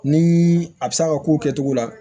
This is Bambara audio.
Ni a bɛ se a ka kow kɛcogo la